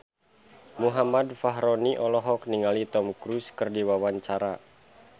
Muhammad Fachroni olohok ningali Tom Cruise keur diwawancara